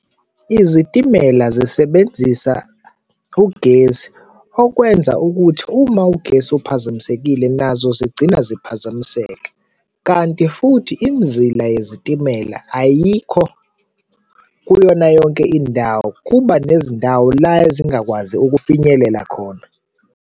Izitimela zisebenzisa ugesi, okwenza ukuthi uma ugesi kuphazamisekile nazo zigcina ziphazamiseke kanti futhi imizila yezitimela ayikho kuyona yonke indawo, kuba nezindawo la ezingakwazi ukufinyelela khona.